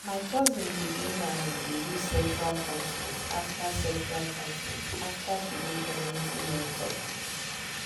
my cousin begin um dey use sexual consent after sexual consent after she go community health talk.